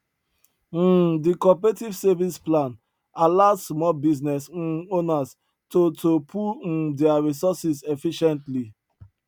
um di cooperative savings plan allow small business um owners to to pool um dia resources efficiently